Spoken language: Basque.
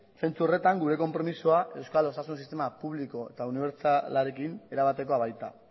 zentzu horretan gure konpromisoa euskal osasun sistema publikoa eta unibertsalarekin erabatekoa baita